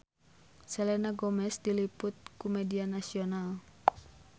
Selena Gomez diliput ku media nasional